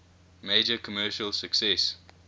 major commercial success